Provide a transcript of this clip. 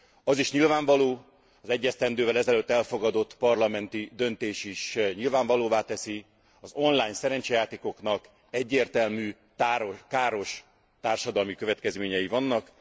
Az is nyilvánvaló az egy esztendővel ezelőtt elfogadott Parlamenti döntés is nyilvánvalóvá teszi az online szerencsejátékoknak egyértelmű káros társadalmi következményei vannak.